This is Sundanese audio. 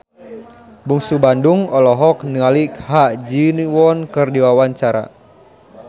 Bungsu Bandung olohok ningali Ha Ji Won keur diwawancara